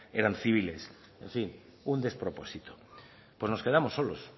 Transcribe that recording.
eran civiles sí un despropósito pues nos quedamos solos